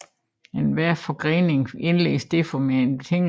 Enhver forgrening indledes derfor med en betingelse